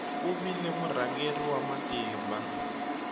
u vile murhangeri wa matimba